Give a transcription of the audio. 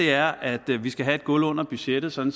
er at vi skal have et gulv under budgettet sådan